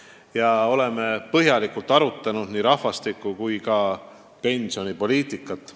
Me oleme põhjalikult arutanud nii rahvastiku- kui ka pensionipoliitikat.